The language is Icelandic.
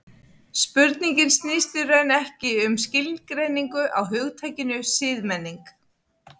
Spurningin snýst í raun ekki síst um skilgreiningu á hugtakinu siðmenning.